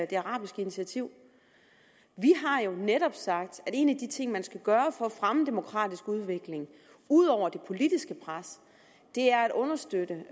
det arabiske initiativ vi har jo netop sagt at en af de ting man skal gøre for at fremme demokratisk udvikling ud over det politiske pres er at understøtte